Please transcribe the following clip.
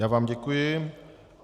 Já vám děkuji.